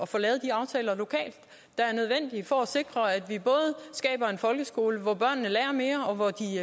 får lavet de aftaler lokalt der er nødvendige for at sikre at vi skaber en folkeskole hvor børnene både lærer mere og hvor de